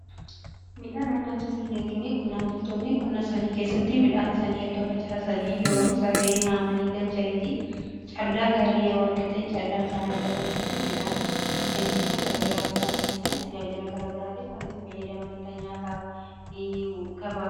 Midhaan argamsiisan jechuun qonnaan bultoonni qonna isaanii keessatti midhaan sanii erga facaasanii yeroon isa ga'ee haamanii galchaniiti caallaa gaarii yeroo argatanii caallaan isaan argatan sana midhaan argamsiisan kan jedhamuudhaa. Fakkeenyaa tajaajila garagaraatiif kunitti fayyadamaniidha nyaataa fi gabaaf.